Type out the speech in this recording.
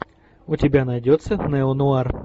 у тебя найдется неонуар